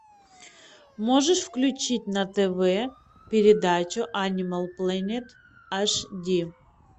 можешь включить на тв передачу анимал плэнет аш ди